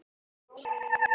Hálka víða á landsbyggðinni